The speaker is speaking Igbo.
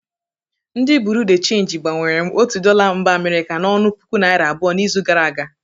Ndị bụreau de chenji gbanwere m otu dọla mba Amirika n'ọnụ puku naira abụo n'izu gara aga.